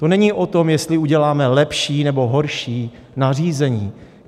To není o tom, jestli uděláme lepší nebo horší nařízení.